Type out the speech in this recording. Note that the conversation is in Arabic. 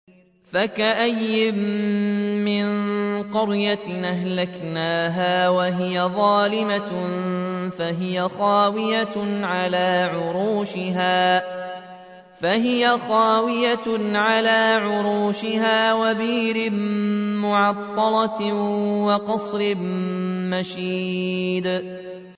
فَكَأَيِّن مِّن قَرْيَةٍ أَهْلَكْنَاهَا وَهِيَ ظَالِمَةٌ فَهِيَ خَاوِيَةٌ عَلَىٰ عُرُوشِهَا وَبِئْرٍ مُّعَطَّلَةٍ وَقَصْرٍ مَّشِيدٍ